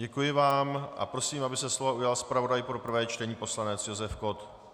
Děkuji vám a prosím, aby se slova ujal zpravodaj pro prvé čtení, poslanec Josef Kott.